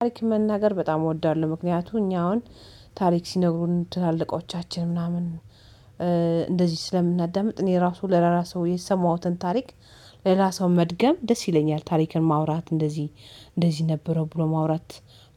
ታሪክ መናገር በጣም እወዳለሁ ምክንያቱም እኛ አሁን ታሪክ ሲነግሩን ትላልቆቻችን ምናምን እንደዚህ ስለምናዳምጥ እኔ ራሱ ለራሱ የሰማሁትን ታሪክ ለሌላ ሰው መድገም ደስ ይለኛል። ታሪክን ማውራት እንደዚህ እንደዚህ ነበረ ብሎ ማውራት።